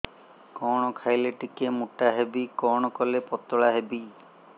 କଣ ଖାଇଲେ ଟିକେ ମୁଟା ହେବି କଣ କଲେ ପତଳା ହେବି